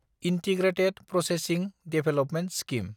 integrated processing development scheme